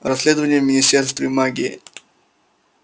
расследование в министерстве магии